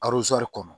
kɔnɔ